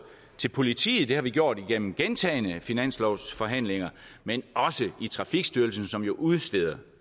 til politiet det har vi gjort igennem gentagne finanslovsforhandlinger men også til trafikstyrelsen som jo udsteder